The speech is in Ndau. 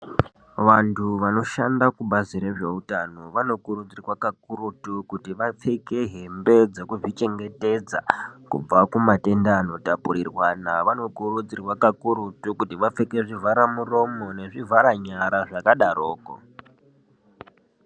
Vantu vanoshanda kubazi rezveutano vanokurudzirwa kakurutu kuti vapfeke hembe dzekuzvichengetedza kubva kumatenda anotapurirwana vanokurudzirwa kakurutu kuti vapfeke zvivharamuromo nezvivharanyara zvakadaroko.